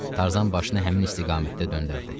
Tarzan başını həmin istiqamətdə döndərdi